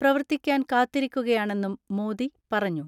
പ്രവർത്തിക്കാൻ കാത്തിരിക്കുകയാണെന്നും മോദി പറഞ്ഞു.